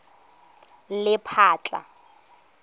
lephatla